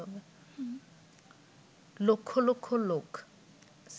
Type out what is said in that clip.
লক্ষ লক্ষ লোক